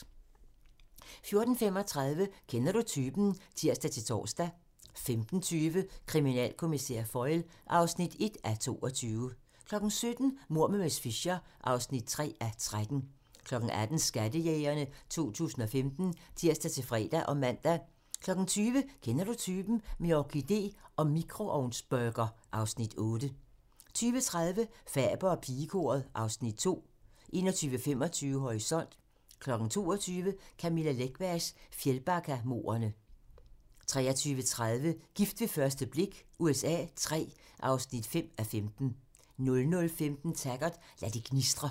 14:35: Kender du typen? (tir-tor) 15:20: Kriminalkommissær Foyle (1:22) 17:00: Mord med miss Fisher (3:13) 18:00: Skattejægerne 2015 (tir-fre og man) 20:00: Kender du typen? - med orkidé og mikroovnsburger (Afs. 8) 20:30: Faber og pigekoret (Afs. 2) 21:25: Horisont (tir) 22:00: Camilla Läckbergs Fjällbackamordene (tir) 23:30: Gift ved første blik USA III (5:15) 00:15: Taggart: Lad det gnistre